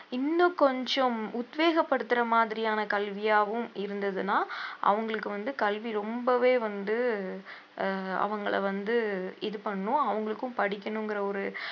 இன்னும் கொஞ்சம் உத்வேகப்படுத்துற மாதிரியான கல்வியாவும் இருந்ததுன்னா அவுங்களுக்கு வந்து கல்வி ரொம்பவே வந்து ஆஹ் அவுங்களை வந்து இது பண்ணும் அவுங்களுக்கும் படிக்கணும்ங்கிற ஒரு